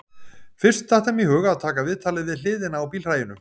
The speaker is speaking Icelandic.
Fyrst datt þeim í hug að taka viðtalið við hliðina á bílhræinu